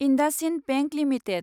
IndusInd bank limited